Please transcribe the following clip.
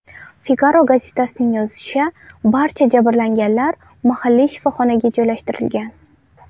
Figaro gazetasining yozishicha, barcha jabrlanganlar mahalliy shifoxonaga joylashtirilgan.